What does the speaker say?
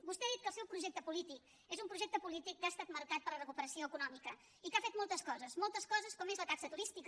vostè ha dit que el seu projecte polític és un projecte polític que ha estat marcat per la recuperació econòmica i que ha fet moltes coses moltes coses com és la taxa turística